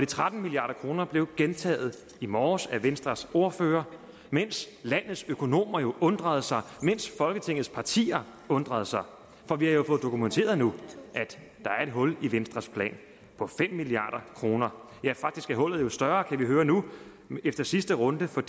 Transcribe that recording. tretten milliard kroner blev gentaget i morges af venstres ordfører mens landets økonomer undrede sig mens folketingets partier undrede sig for vi har jo fået dokumenteret nu at der er et hul i venstres plan på fem milliard kroner faktisk er hullet større kan vi høre nu efter sidste runde for